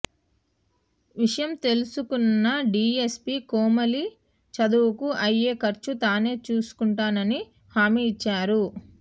విషయం తెలుసు కున్న డిఎస్పీ కోమలి చదువుకు అయ్యే ఖర్చు తానే చూసు కుంటానన్నానని హామీ ఇచ్చారు